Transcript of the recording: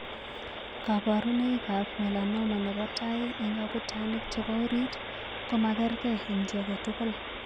Kabarunoikab melanoma nebo tai eng' akutanik chebo orit ko magerge eng' chi age tugul.